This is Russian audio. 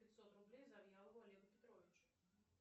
пятьсот рублей завьялову олегу петровичу